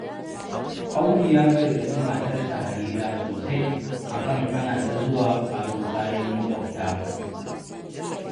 Audu ya gargaɗi matarsa Harira sosai akan hana ta zuwa aro kayan maƙwabta.